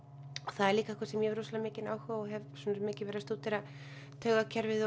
það er líka eitthvað sem ég hef rosamikinn áhuga á og hef mikið verið að stúdera taugakerfið